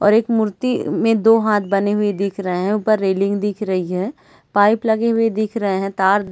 और एक मूर्ति में में दो हाथ बने हुए दिख रहे है ऊपर रैलिंग दिख रही है पाइप लगे हुए दिख रहे है तार--